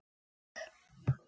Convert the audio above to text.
Jafna mig!